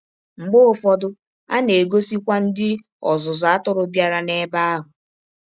Mgbe ụfọdụ, a na - egọsikwa ndị ọzụzụ atụrụ bịara n’ebe ahụ.